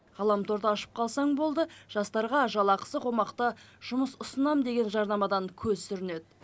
ғаламторды ашып қалсаң болды жастарға жалақысы қомақты жұмыс ұсынамын деген жарнамадан көз сүрінеді